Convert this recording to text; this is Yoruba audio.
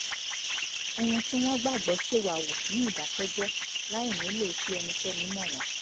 ohun tí wọ́n gbàgbọ́ ṣèwà hù ní ìdàkẹ́jẹ́ẹ́ láì nílò kí ẹnikẹ́ni mọ̀ wọ́n